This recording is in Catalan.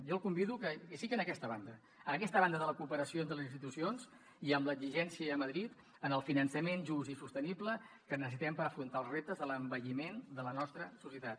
jo el convido que sigui en aquesta banda en aquesta banda de la coope ració entre les institucions i amb l’exigència a madrid del finançament just i sostenible que necessitem per afrontar els reptes de l’envelliment de la nostra societat